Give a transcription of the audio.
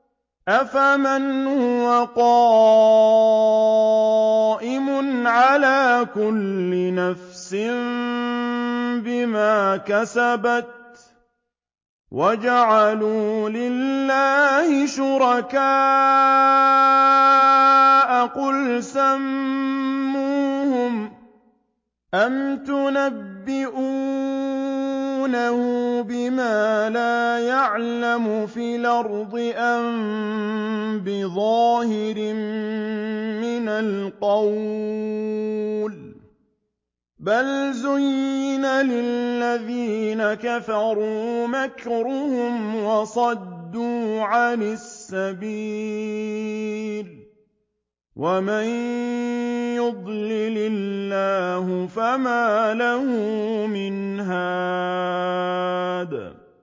أَفَمَنْ هُوَ قَائِمٌ عَلَىٰ كُلِّ نَفْسٍ بِمَا كَسَبَتْ ۗ وَجَعَلُوا لِلَّهِ شُرَكَاءَ قُلْ سَمُّوهُمْ ۚ أَمْ تُنَبِّئُونَهُ بِمَا لَا يَعْلَمُ فِي الْأَرْضِ أَم بِظَاهِرٍ مِّنَ الْقَوْلِ ۗ بَلْ زُيِّنَ لِلَّذِينَ كَفَرُوا مَكْرُهُمْ وَصُدُّوا عَنِ السَّبِيلِ ۗ وَمَن يُضْلِلِ اللَّهُ فَمَا لَهُ مِنْ هَادٍ